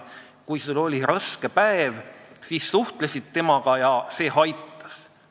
Kui sul oli raske päev, siis suhtlesid temaga ja see aitas.